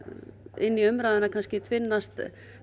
inn í umræðuna tvinnast